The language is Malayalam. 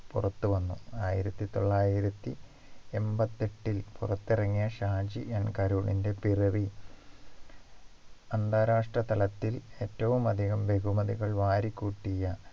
പുറത്തു വന്നു ആയിരത്തി തൊള്ളായിരത്തി എൺപത്തി എട്ടിൽ പുറത്തിറങ്ങിയ ഷാജി N കരുണിന്റെ പിറവി അന്താരാഷ്ട്ര തലത്തിൽ ഏറ്റവും അധികം ബഹുമതികൾ വാരിക്കൂട്ടിയ